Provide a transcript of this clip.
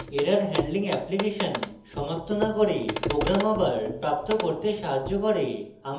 error handling application সমাপ্ত না করে program আবার প্রাপ্ত করতে সাহায্য করে